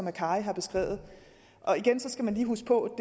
akkari har beskrevet og igen skal man lige huske på